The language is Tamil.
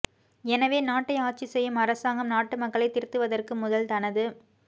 எனவே நாட்டை ஆட்சிசெய்யும் அரசாங்கம் நாட்டு மக்களை திருத்துவதற்கு முதல் தனது